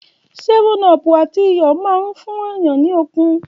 Ṣẹfúnọ pú àtí ìyọ mà ń fún yàn ní òkún.